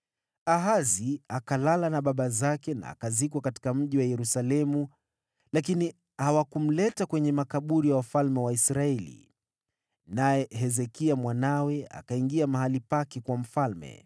Ahazi akalala na baba zake na akazikwa katika Mji wa Yerusalemu, lakini hawakumleta kwenye makaburi ya wafalme wa Israeli. Naye Hezekia mwanawe akawa mfalme baada yake.